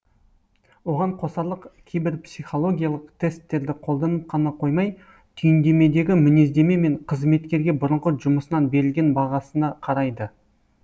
оған қосарлық кейбірі психологиялық тесттерді қолданып қана қоймай түйіндемедегі мінездеме мен қызметкерге бұрынғы жұмысынан берілген бағасына қарайды